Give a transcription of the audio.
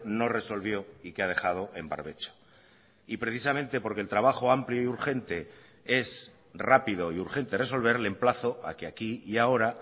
no resolvió y que ha dejado en barbecho y precisamente porque el trabajo amplio y urgente es rápido y urgente resolver le emplazo a que aquí y ahora